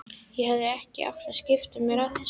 Ég hefði ekkert átt að skipta mér af þessu.